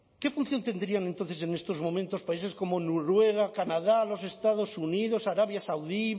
qué función tendrían entonces en estos momentos países como noruega canadá los estados unidos arabia saudí